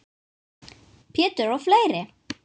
Pétur og fleiri.